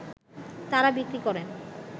তারা বিক্রি করেন